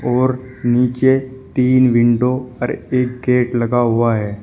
और नीचे तीन विंडो और एक गेट लगा हुआ है।